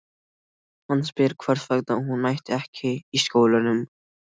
Hann spyr hvers vegna hún mæti ekki í skólanum.